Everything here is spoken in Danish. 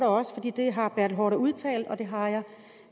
det har herre bertel haarder udtalt og det har jeg